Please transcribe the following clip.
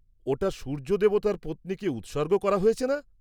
-ওটা সূর্য দেবতার পত্নীকে উৎসর্গ করা হয়েছে না?